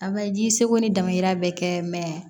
A bɛ ji seko ni damayira bɛ kɛ